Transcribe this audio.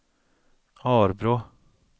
Arbrå